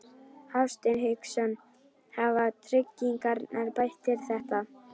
Hafsteinn Hauksson: Hafa tryggingarnar bætt þér þetta?